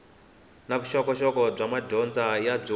na vuxokoxoko bya madyondza byo